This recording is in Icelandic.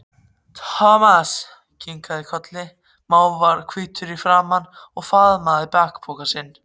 Thomas kinkaði kolli, náhvítur í framan, og faðmaði bakpokann sinn.